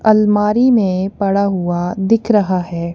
अलमारी में पड़ा हुआ दिख रहा है।